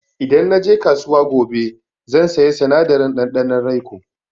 Idan na je kasuwa gobe zan saya sinadarin ɗanɗanon raiko.